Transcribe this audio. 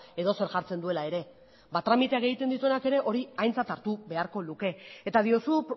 edozer jartzen duela ere ba tramiteak egiten dituenak ere hori aintzat hartu beharko luke eta diozu